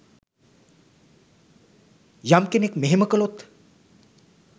යම් කෙනෙක් මෙහෙම කළොත්